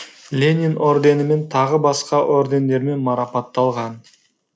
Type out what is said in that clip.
ленин орденімен тағы басқа ордендермен марапатталған